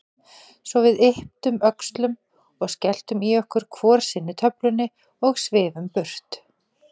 Svo við ypptum öxlum og skelltum í okkur hvor sinni töflunni og svifum burt.